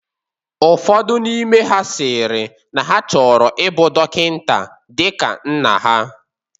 Ụfodụ n'ime ha sịrị na ha chọrọ ibu dọkịta dịka nna ha.